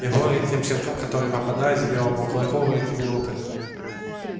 и горе тем щенкам которые попадались белому клыку в эти минуты